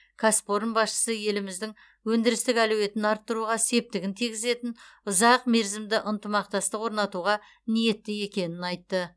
кәсіпорын басшысы еліміздің өндірістік әлеуетін арттыруға септігін тигізетін ұзақ мерзімді ынтымақтастық орнатуға ниетті екенін айтты